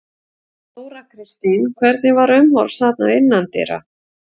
Þóra Kristín: Hvernig var umhorfs þarna innandyra?